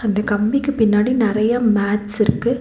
அந்த கம்பிக்கு பின்னாடி நெறைய மேட்ஸ் இருக்கு.